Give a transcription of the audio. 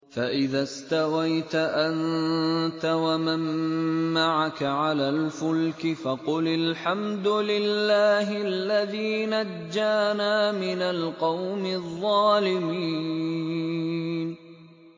فَإِذَا اسْتَوَيْتَ أَنتَ وَمَن مَّعَكَ عَلَى الْفُلْكِ فَقُلِ الْحَمْدُ لِلَّهِ الَّذِي نَجَّانَا مِنَ الْقَوْمِ الظَّالِمِينَ